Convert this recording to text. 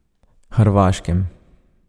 Hrvaškem.